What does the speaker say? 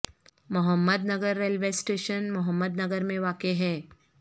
محمد Nagar railway station Muhammad Nagar میں واقع ہے